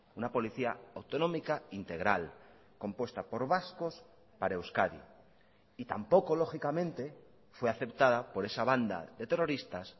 una policía autonómica integral compuesta por vascos para euskadi y tampoco lógicamente fue aceptada por esa banda de terroristas